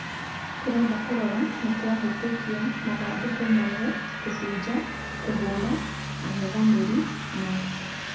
Tũrenda kũrora nĩtwahĩtukia mathandũkũ mothe ;kũfuja ,kũhũra angethanĩri na .....